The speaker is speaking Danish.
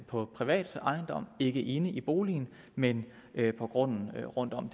på en privat ejendom ikke inde i boligen men på grunden rundt om